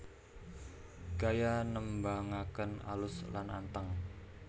Gaya nembangaken alus lan anteng